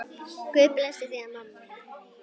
Guð blessi þig, mamma mín.